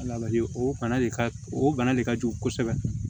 o bana de ka o bana de ka jugu kosɛbɛ